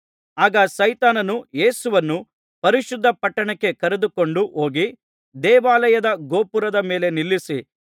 ಆಗ ಸೈತಾನನು ಯೇಸುವನ್ನು ಪರಿಶುದ್ಧ ಪಟ್ಟಣಕ್ಕೆ ಕರೆದುಕೊಂಡು ಹೋಗಿ ದೇವಾಲಯದ ಗೋಪುರದ ಮೇಲೆ ನಿಲ್ಲಿಸಿ